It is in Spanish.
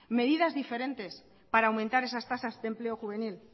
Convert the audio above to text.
medidas diferentes para aumentar esas tasas de empleo juvenil